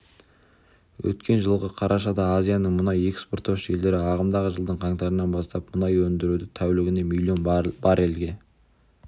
өткен жылғы қарашада азияның мұнай экспорттаушы елдері ағымдағы жылдың қаңтарынан бастап мұнай өндіруді тәулігіне млн баррельге